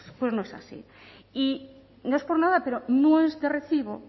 pues no es así y no es por nada pero no es de recibo